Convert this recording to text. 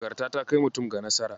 Nagarta ta kai mutum ga nasara.